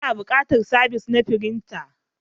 Ana buƙatar sabis na firinta.